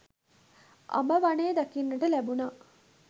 අඹ වනය දකින්නට ලැබුණා.